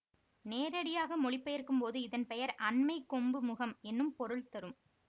நேரடியாக மொழிபெயர்க்கும்போது இதன் பெயர் அண்மை கொம்பு முகம் என்னும் பொருள் தரும்